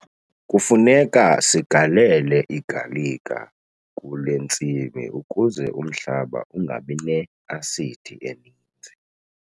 Kufuneka sigalele igalika kule ntsimi ukuze umhlaba ungabi ne-asidi eninzi.